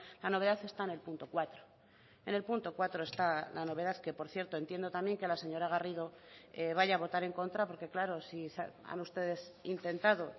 la novedad está en el punto cuatro en el punto cuatro está la novedad que por cierto entiendo también que la señora garrido vaya a votar en contra porque claro si han ustedes intentado